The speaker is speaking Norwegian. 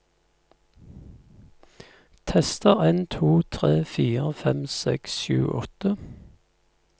Tester en to tre fire fem seks sju åtte